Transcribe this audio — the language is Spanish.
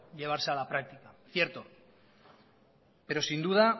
llevarse a la práctica cierto pero sin duda